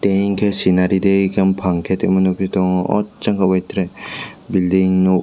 ringke scenery rikey bopang ke tongma nogphi tongo o jang bo bai tere building nog.